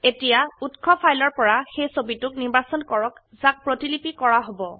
এতিয়া উৎস ফাইলৰ পৰা সেই ছবিটোক নিৰ্বাচন কৰক যাক প্ৰতিলিপি কৰা হব